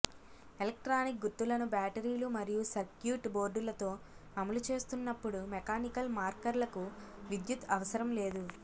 electronic గుర్తులను బ్యాటరీలు మరియు సర్క్యూట్ బోర్డులుతో అమలు చేస్తున్నప్పుడు మెకానికల్ మార్కర్లకు విద్యుత్ అవసరం లేదు